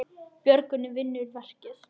Björgun vinnur verkið.